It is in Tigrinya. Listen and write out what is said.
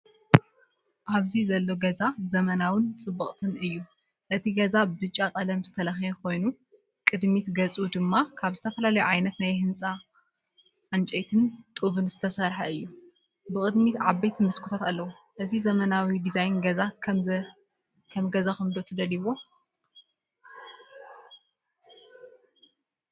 ኣብ ዘሎ ገዛ ዘመናውን ጽብቕትን እዩ። እቲ ገዛ ብጫ ቀለም ዝተለኽየ ኮይኑ ቅድሚት ገጹ ድማ ካብ ዝተፈላለየ ዓይነት ናይ ህንጻ ዕንጨይቲን ጡብን ዝተሰርሐ እዩ። ብቕድሚት ዓበይቲ መስኮታት ኣለዎ። እዚ ዘመናዊ ዲዛይን ገዛ ከም ገዛኹም ትደልዩ ዶ?